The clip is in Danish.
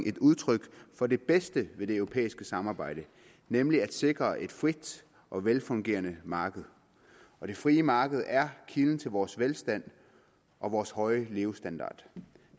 et udtryk for det bedste ved det europæiske samarbejde nemlig at sikre et frit og velfungerende marked og det frie marked er kilden til vores velstand og vores høje levestandard